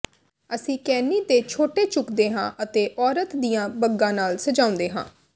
ਅਸੀਂ ਕੈਨੀ ਤੇ ਛੋਟੇ ਝੁਕਦੇ ਹਾਂ ਅਤੇ ਔਰਤ ਦੀਆਂ ਬੱਗਾਂ ਨਾਲ ਸਜਾਉਂਦੇ ਹਾਂ